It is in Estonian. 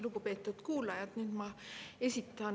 Lugupeetud kuulajad!